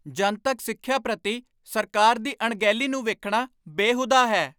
ਜਨਤਕ ਸਿੱਖਿਆ ਪ੍ਰਤੀ ਸਰਕਾਰ ਦੀ ਅਣਗਹਿਲੀ ਨੂੰ ਵੇਖਣਾ ਬੇਹੂਦਾ ਹੈ।